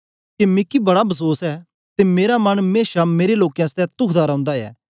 के मिगी बड़ा बसोस ऐ ते मेरा मन मेशा मेरे लोकें आसतै तूखदा रौंदा ऐ